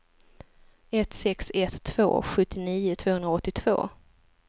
ett sex ett två sjuttionio tvåhundraåttiotvå